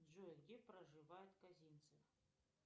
джой где проживает козинцев